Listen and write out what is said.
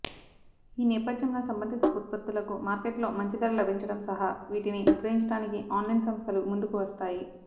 ఈ నేపథ్యంలో సంబంధిత ఉత్పత్తులకు మార్కెట్లో మంచి ధర లభించడం సహా వీటిని విక్రయించడానికి ఆన్లైన్ సంస్థలూ ముందుకు వస్తాయి